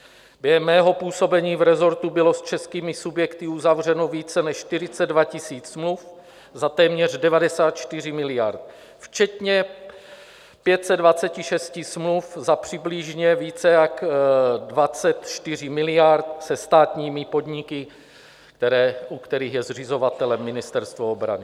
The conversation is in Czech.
Během mého působení v resortu bylo s českými subjekty uzavřeno více než 42 000 smluv za téměř 94 miliard včetně 526 smluv za přibližně více jak 24 miliard se státními podniky, u kterých je zřizovatelem Ministerstvo obrany.